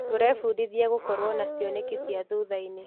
Tũrebundithia gũkorwo na cioneki cia thutha-inĩ.